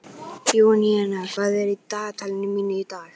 Júníana, hvað er í dagatalinu mínu í dag?